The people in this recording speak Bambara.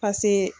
pase